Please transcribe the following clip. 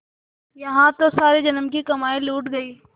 यहाँ तो सारे जन्म की कमाई लुट गयी